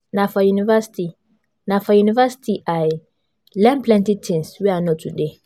Na for university I learn plenty tins wey I know today.